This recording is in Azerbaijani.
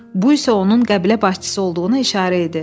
Bu isə onun qəbilə başçısı olduğunu işarə idi.